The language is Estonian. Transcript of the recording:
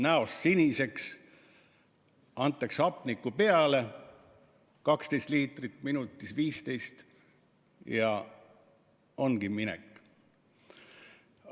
Lähed näost siniseks, antakse hapnikku peale, 12 või 15 liitrit minutis, ja ongi minek.